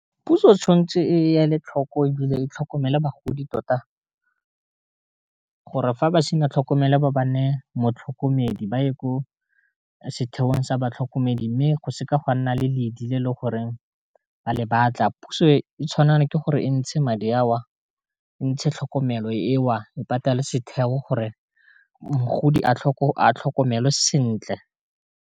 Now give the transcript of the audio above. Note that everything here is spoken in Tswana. Puso tshwanetse e ya le tlhoko e bile e tlhokomela bagodi tota, gore fa ba sena tlhokomelwa ba ba ne e motlhokomedi ba ye ko setheong sa batlhokomedi, mme go seka gwa nna le ledi le le goreng ba le batla, puso e tshwanelwa ke gore e ntshe madi a o ntshe tlhokomelo eo e patale setheo gore mogodi a tlhokomelwa sentle.